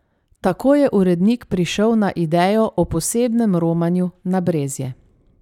Tako je urednik prišel na idejo o posebnem romanju na Brezje.